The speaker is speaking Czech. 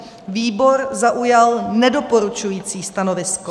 Výbor zaujal nedoporučující stanovisko.